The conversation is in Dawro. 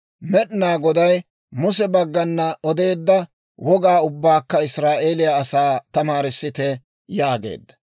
Med'inaa Goday Muse baggana odeedda wogaa ubbaakka Israa'eeliyaa asaa tamaarissite» yaageedda.